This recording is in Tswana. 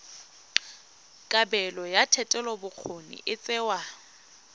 kabelo ya thetelelobokgoni e tsewa